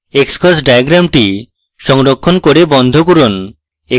xcos diagram সংরক্ষণ করে বন্ধ করুন